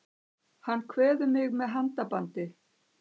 Hann kveður mig með handabandi.